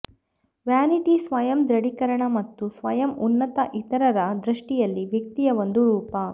vanity ಸ್ವಯಂ ದೃಢೀಕರಣ ಮತ್ತು ಸ್ವಯಂ ಉನ್ನತ ಇತರರ ದೃಷ್ಟಿಯಲ್ಲಿ ವ್ಯಕ್ತಿಯ ಒಂದು ರೂಪ